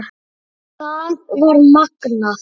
Það var magnað.